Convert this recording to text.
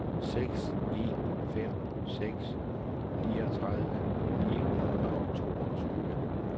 seks en fem seks niogtredive ni hundrede og toogtyve